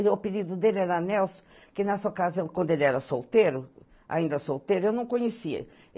O apelido dele era Nelson, que nessa ocasião, quando ele era solteiro, ainda solteiro, eu não conhecia.